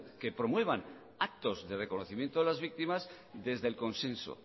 que promuevan actos de reconocimiento de las víctimas desde el consenso